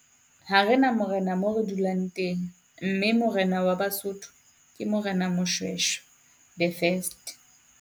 Ha rena morena mo re dulang teng, mme orena wa Basotho ke Morena Moshoeshoe the first.